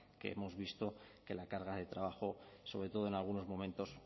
que hemos visto que la carga de trabajo sobre todo en algunos momentos